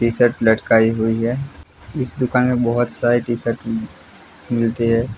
T shirt लटकाई हुई है इस दुकान में बहुत सारे शर्ट मिल रही है।